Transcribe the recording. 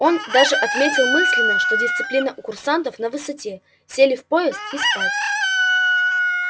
он даже отметил мысленно что дисциплина у курсантов на высоте сели в поезд и спать